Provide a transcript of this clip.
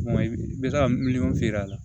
Kuma i bɛ taa miliyɔn feere la